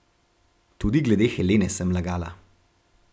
Tudi glede Helene sem lagala.